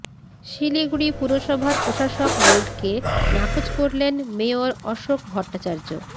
শিলিগুড়ি পুরসভার প্রশাসক বোর্ডকে নাকচ করলেন মেয়র অশোক ভট্টাচার্য